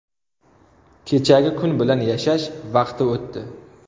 Kechagi kun bilan yashash vaqti o‘tdi.